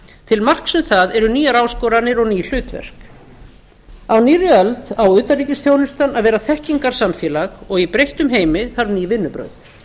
til marks um það eru nýjar áskoranir og ný hlutverk á nýrri öld á utanríkisþjónustan að vera þekkingarsamfélag og í breyttum heimi þarf ný vinnubrögð